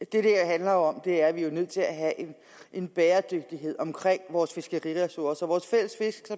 det her handler om er jo at vi er nødt til at have en bæredygtighed omkring vores fiskeriressourcer